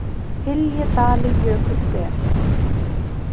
hylji dali jökull ber